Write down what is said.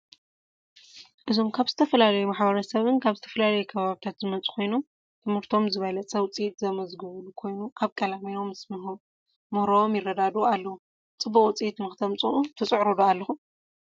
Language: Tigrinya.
እዞም ካብ ዝተፈላለዮ ማሕበረሰብን ካብ ዝተፈላለዮ ከባብታት ዝመፁ ኮይኖም ትህርቶም ዝበለፀ ውፅኢት ዘመዝገቡ ኮይኖም አብ ቀላሚኖ ምስ ምህሮም ይረዳደኡ አለው ። ፅቡቅ ውፅእት ንክተምፅኡ ትፅዕሩ ዶ አለ ኩም ?